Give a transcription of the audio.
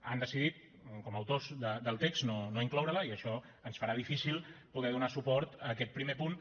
han decidit com a autors del text no incloure la i això ens farà difícil poder donar suport a aquest primer punt